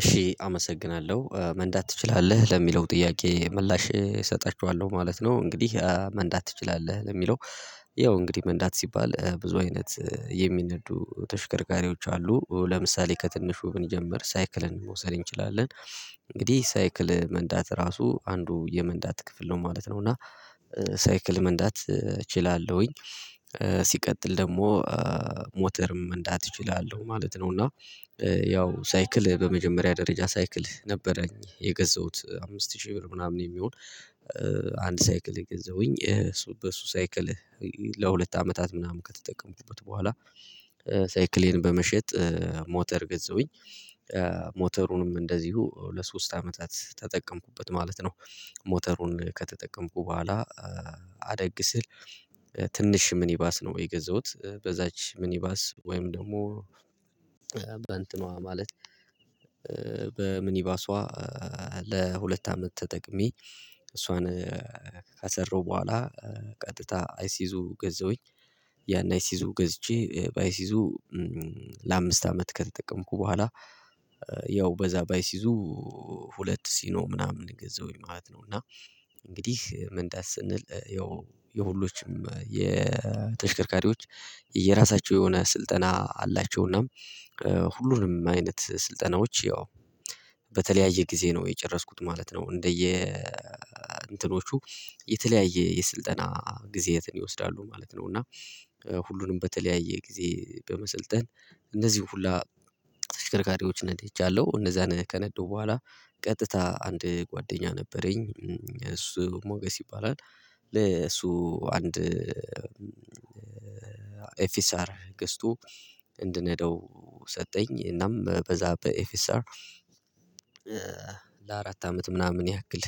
እሺ አመሰግናለሁ መንዳት ትችላለህ ለሚለው ጥያቄ ምላሽ እሰጣችኋለሁ ማለት ነው። እንግዲህ መንዳት ትችላለህ ለሚለው? ያው እንግዲህ መንዳት ሲባል ብዙ አይነት የሚነዱ ተሽከርካሪዎች አሉ ለምሳሌ ከትንሹ ብንጀምር ሳይክልን መውሰድ እንችላለን። እንግዲህ ሳይክል መንዳት ራሱ አንዱ የመንዳት ክፍል ነው ማለት ነው እና ሳይክል መንዳት እችላለሁኝ። ሲቀጥል ደግሞ ሞተርም መንዳት እችላለሁ ማለት ነው። እና ያው ሳይክል በመጀመሪያ ደረጃ ሳይክል ነበረኝ የገዛሁት አምስት ሺ ብር ምናምን የሚሆን። አንድ ሳይክል የገዛሁኝ እሱ በሱ ሳይክል ለሁለት አመታት ምናምን ከተጠቀምኩበት በኋላ። ሳይክሌን በመሸጥ ሞተር ገዛሁኝ። ሞተሩንም እንደዚሁ ለሶስት አመታት ተጠቀምኩበት ማለት ነው። ሞተሩን ከተጠቀምኩ በኋላ። አደግ ስል ትንሽ ምን ይባስ ነው የገዛሁት በዛች ምን ይባስ ወይም ደግሞ። በእንትኗ ማለት በምኒባሷ ለሁለት አመት ተጠቅሜ እሷን ከሰራሁ በኋላ። ቀጥታ አይሲዙ ገዛውኝ ያን አይሲዙ ገዝቼ ባይሲዙ ለአምስት አመት ከተጠቀምኩ በኋላ። ያው በዛ ባይሲዙ ሁለት ሲኖ ምናምን ገዛውኝ ማለት ነው። እና እንግዲህ መንዳት ስንል ያው የሁሎችም የተሽከርካሪዎች የራሳቸው የሆነ ስልጠና አላቸውና። ሁሉንም አይነት ስልጠናዎች ያው በተለያየ ጊዜ ነው የጨረስኩት ማለት ነው። እንደየ እንትኖቹ የተለያየ የስልጠና ጊዜያትን ይወስዳሉ ማለት ነው። እና ሁሉንም በተለያየ ጊዜ በመሰልጠን እነዚህን ሁላ ተሽከርካሪዎች ነድሄቻለሁ እነዛን ከነዳው በኋላ ቀጥታ አንድ ጓደኛ ነበረኝ እሱ ሞገስ ይባላል። ለሱ አንድ ኤፊስአር ገዝቶ እንድነዳው ሰጠኝ እናም በዛ በኤፊስአር ለአራት አመት ምናምን ያክል።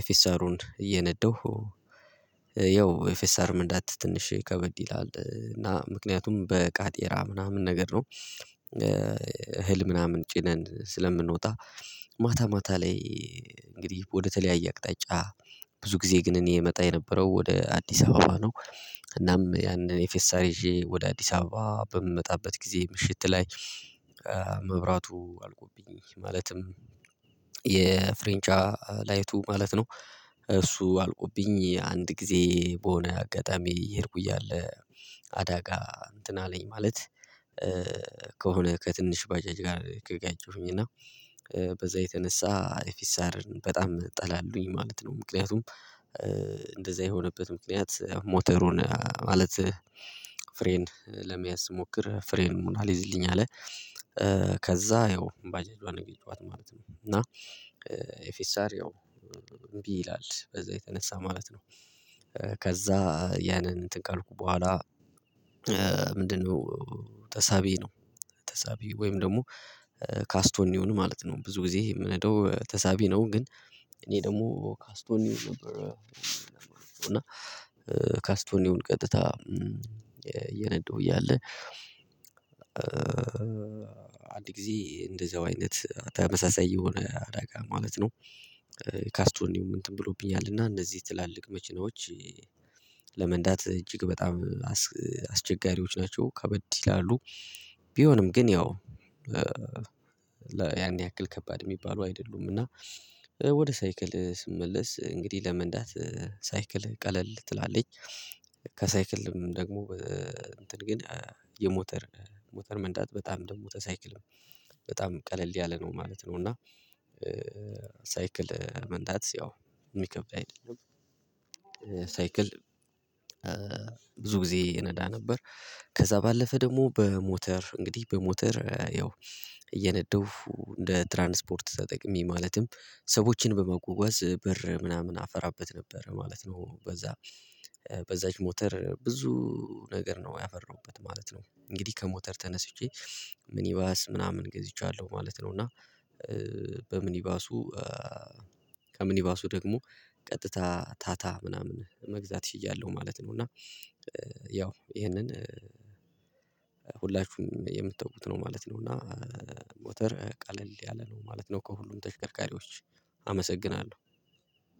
ኤፊስአሩን እየነደሁ ያው ኤፍኤስአር መንዳት ትንሽ ከበድ ይላል እና ምክንያቱም በቃጤራ ምናምን ነገር ነው። እህል ምናምን ጭነን ስለምንወጣ ማታ ላይ እንግዲህ ወደተለያየ አቅጣጫ ብዙ ጊዜ ግን እኔ እመጣ የነበረው ወደ አዲስ አበባ ነው። እናም ያንን የፌሳር ይዤ ወደ አዲስ አበባ በምመጣበት ጊዜ ምሽት ላይ መብራቱ አልቆብኝ ማለትም የፍሬንቻ ላይቱ ማለት ነው። እሱ አልቆብኝ አንድ ጊዜ በሆነ አጋጣሚ የሄድኩ እያለ አዳጋ እንትን አለኝ ማለት ከሆነ ከትንሽ ባጃጅ ጋር ከጋጨሁኝ እና በዛ የተነሳ ኤፊስአርን በጣም ጠላለሁኝ ማለት ነው። ምክንያቱም እንደዛ የሆነበት ምክንያት ሞተሩን ማለት ፍሬን ለመያዝ ስሞክር ፍሬኑን ሙን አልይዝልኝ አለ። ከዛ ያው ባጃጁዋን ነው የገጨኋት ማለት ነው። እና ኤፍኤስአር ያው እምቢ ይላል በዛ የተነሳ ማለት ነው። ከዛ ያንን እንትን ካልኩ በኋላ ምንድነው? ተሳቢ ነው ተሳቢ ወይም ደግሞ ካስቶኒውን ማለት ነው። ብዙ ጊዜ የምነደው ተሳቢ ነው ግን እኔ ደግሞ ካስቶን ኒውን ነበረ እና። ካስቶኒውን ቀጥታ እየነዳው እያለ አንድ ጊዜ እንደዛው አይነት ተመሳሳይ የሆነ አዳጋ ማለት ነው። ካስቶኒው እንትን ብሎብኛል እና እነዚህ ትላልቅ መኪናዎች ለመንዳት እጅግ በጣም አስቸጋሪዎች ናቸው ከበድ ይላሉ። ቢሆንም ግን ያው ያን ያክል ከባድ የሚባሉ አይደሉም። እና ወደ ሳይክል ስመለስ እንግዲህ ለመንዳት ሳይክል ቀለል ትላለኝ። ከሳይክልም ደግሞ እንትን ግን የሞተር ሞተር መንዳት በጣም ደግሞ ተሳይክል በጣም ቀለል ያለ ነው ማለት ነው። እና ሳይክል መንዳት ያው ሚከብድ አይደለም። ሳይክል ብዙ ጊዜ እነዳ ነበር። ከዛ ባለፈ ደግሞ በሞተር እንግዲህ በሞተር ያው እየነዳሁ እንደ ትራንስፖርት ተጠቅሜ ማለትም ሰዎችን በማጓጓዝ ብር ምናምን አፈራበት ነበር ማለት ነው። በዛ በዛች ሞተር ብዙ ነገር ነው ያፈራሁበት ማለት ነው። እንግዲህ ከሞተር ተነስቼ ምን ይባስ ምናምን ገዝቻለሁ ማለት ነው። እና በምኒባሱ ከምኒባሱ ደግሞ ቀጥታ ታታ ምናምን መግዛት ችያለሁ ማለት ነው። እና ያው ይሄንን ሁላችሁም የምታውቁት ነው ማለት ነው። እና ሞተር ቀለል ያለ ነው ማለት ነው። ከሁሉም ተሽከርካሪዎች አመሰግናለሁ